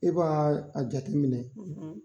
E b'a a jate minɛ,